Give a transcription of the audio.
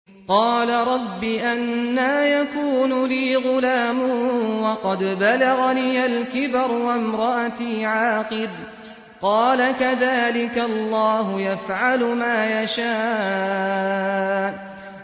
قَالَ رَبِّ أَنَّىٰ يَكُونُ لِي غُلَامٌ وَقَدْ بَلَغَنِيَ الْكِبَرُ وَامْرَأَتِي عَاقِرٌ ۖ قَالَ كَذَٰلِكَ اللَّهُ يَفْعَلُ مَا يَشَاءُ